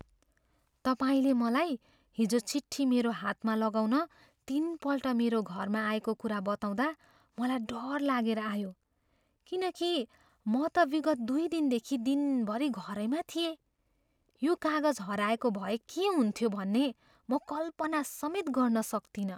तपाईँले मलाई हिजो चिट्ठी मेरो हातमा लगाउन तिनपल्ट मेरो घरमा आएको कुरा बताउँदा मलाई डर लागेर आयो। किनकि म त विगत दुई दिनदेखि दिनभरि घरैमा थिएँ। यो कागज हराएको भए के हुन्थ्यो भन्ने म कल्पनासमेत गर्न सक्तिनँ।